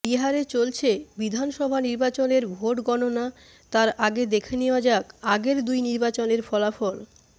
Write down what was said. বিহারে চলছে বিধানসভা নির্বাচনের ভোট গণনা তার আগে দেখে নেওয়া যাক আগের দুই নির্বাচনের ফলাফল